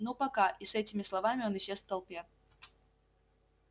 ну пока и с этими словами он исчез в толпе